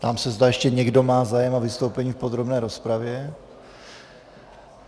Ptám se, zda ještě někdo má zájem o vystoupení v podrobné rozpravě.